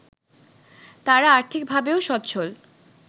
তারা আর্থিকভাবেও স্বচ্ছল